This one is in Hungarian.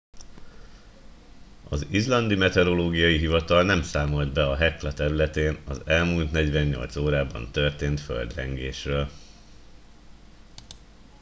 az izlandi meteorológiai hivatal nem számolt be a hekla területén az elmúlt 48 órában történt földrengésről